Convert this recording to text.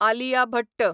Alia Bhatt